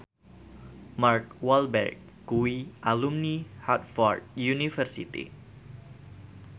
Mark Walberg kuwi alumni Harvard university